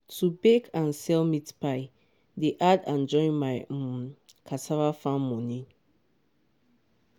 to bake and sell meat pie dey add join my um cassava farm money.